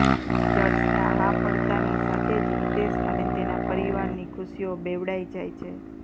દર્શના હા પડતાની સાથે જ હિતેશ અને તેના પરિવારની ખુશીઓ બેવડાઈ જાય છે